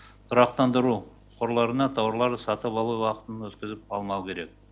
тұрақтандыру қорларына тауарларды сатып алу уақытын өткізіп алмау керек